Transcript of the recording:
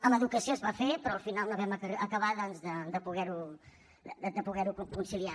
amb educació es va fer però al final no vam acabar doncs de poder ho conciliar